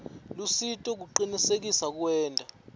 lusito kucinisekisa kuwenta